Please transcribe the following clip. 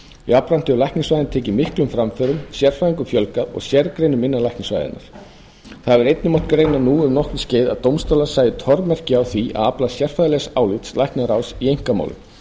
jafnframt hefur læknisfræðin tekið miklum framförum sérfræðingum fjölgað sem og sérgreinum innan læknisfræðinnar það hefur líka mátt greina nú um nokkurt skeið að dómstólar sæju tormerki á því að afla sérfræðilegs álits læknaráðs í einkamálum